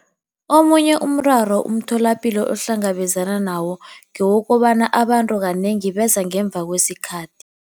Omunye umraro umtholapilo ohlangabezana nawo ngewokobana abantu kanengi beza ngemva kwesikhathi.